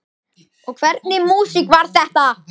Og hvernig músík var þetta?